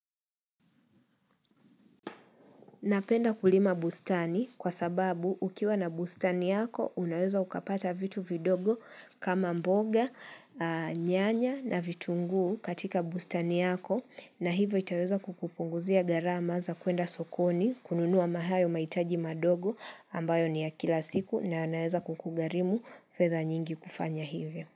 Napenda kulima bustani kwa sababu ukiwa na bustani yako unaweza ukapata vitu vidogo kama mboga, nyanya na vitunguu katika bustani yako na hivyo itaweza kukupunguzia gharama za kuenda sokoni kununua hayo mahitaji madogo ambayo ni ya kila siku na yanaweza kukugharimu fedha nyingi kufanya hivyo.